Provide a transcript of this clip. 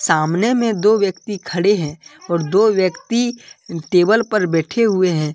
सामने में दो व्यक्ति खड़े हैं और दो व्यक्ति टेबल पर बैठे हुए हैं।